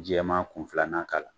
Jɛman kun filanan k'a la.